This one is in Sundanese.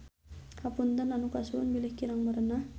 Hapunten anu kasuhun bilih kirang merenah.